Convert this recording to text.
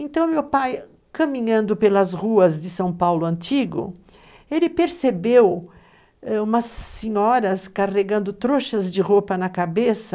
Então, meu pai, caminhando pelas ruas de São Paulo antigo, percebeu ãh umas senhoras carregando trouxas de roupa na cabeça,